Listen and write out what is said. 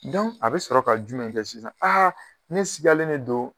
a bɛ sɔrɔ ka jumɛn kɛ sisan ne sigalen ne don